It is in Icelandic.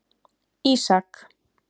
Ísak